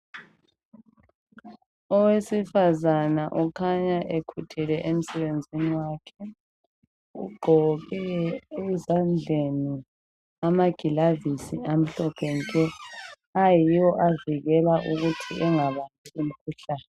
Owesifazana ukukhanya ekhuthele emsebenzi wakhe ugqoke ezandleni amagilavisi amhlophe nke ayiwo avikela ukuthi engabambi imkhuhlane.